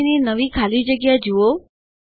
પછીની નવી ખાલી જગ્યા જુઓ